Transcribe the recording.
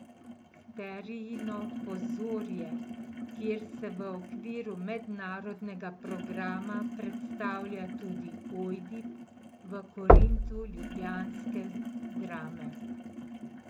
Sterijino pozorje, kjer se v okviru mednarodnega programa predstavlja tudi Ojdip v Korintu ljubljanske Drame.